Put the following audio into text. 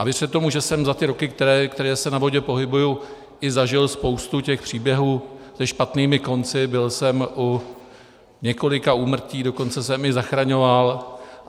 A věřte tomu, že jsem za ty roky, které se na vodě pohybuji, i zažil spoustu těch příběhů se špatnými konci, byl jsem u několika úmrtí, dokonce jsem i zachraňoval.